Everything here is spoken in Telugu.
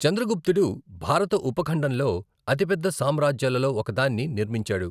చంద్రగుప్తుడు భారత ఉపఖండంలో అతిపెద్ద సామ్రాజ్యాలలో ఒకదాన్ని నిర్మించాడు.